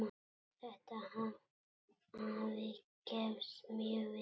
Þetta hafi gefist mjög vel.